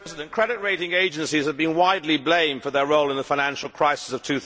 Mr President, credit rating agencies have been widely blamed for their role in the financial crisis of